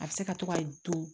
A bɛ se ka to ka don